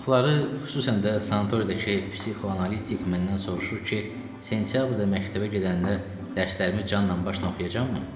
Çoxları, xüsusən də sanatoriyadakı psixoanalitik məndən soruşur ki, sentyabrda məktəbə gedəndə dərslərimi canla başla oxuyacam mı?